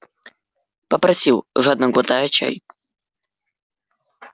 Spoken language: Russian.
попросил жадно глотая чай